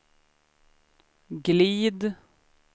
glid